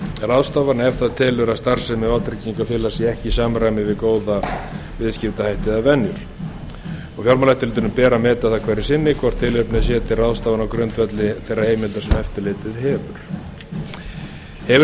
ráðstafana ef það telur að starfsemi vátryggingafélags sé ekki í samræmi við góða viðskiptahætti eða venjur fjármálaeftirlitinu ber að meta það hverju sinni hvort tilefni er til ráðstafana á grundvelli þeirra heimilda sem eftirlitið hefur hefur